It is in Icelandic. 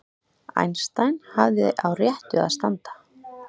Einstein hafði á réttu að standa